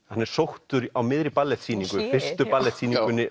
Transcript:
hann er sóttur á miðri